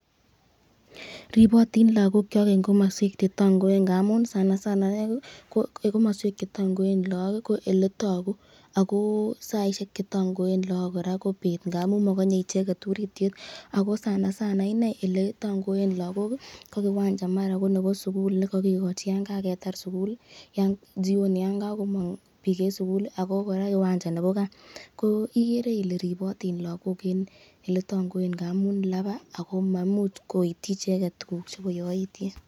Ribotin lokokyok en komoswek che tong'oen ng'amun sana sana en komoswek che tong'oen look ko eletoku ak ko saishek chetong'oen kora ko beet ng'amun mokonyee icheket uritiet ak ko sana sana ineii elee tong'oen lokok ko kiwanja maran ko nebo sukul nekokikochi yoon kaketar sukul, jioni yoon kokomong biik en sukul ak ko kora kiwanja nebo kaa, ko ikeree ilee ribotin lokok en elee tong'oen ng'amun labaa ak ko maimuch koityi icheket tukuk chebo yoityet.